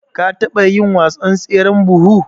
ka taba yin wasan tseren buhu?